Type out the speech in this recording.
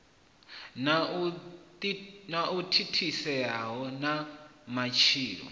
na u thithisea ha matshilo